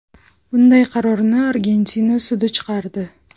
Bunday qarorni Argentina sudi chiqardi.